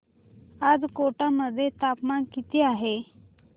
आज कोटा मध्ये तापमान किती आहे